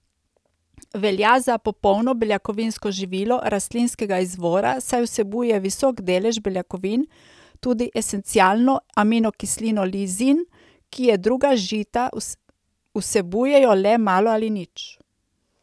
Velja za popolno beljakovinsko živilo rastlinskega izvora, saj vsebuje visok delež beljakovin, tudi esencialno aminokislino lizin, ki je druga žita vsebujejo le malo ali nič.